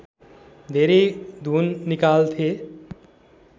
धेरै धुन निकाल्थे